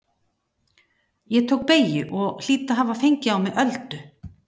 Ég tók beygju og hlýt að hafa fengið á mig öldu.